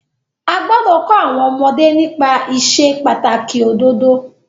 A gbọ́dọ̀ kọ́ àwọn ọmọdé nípa ìsepàtàkì òdodo.